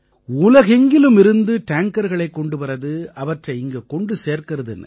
உலகெங்கிலிருமிருந்து டேங்கர்களைக் கொண்டு வர்றது அவற்றை இங்க கொண்டு சேர்க்கறதுன்னு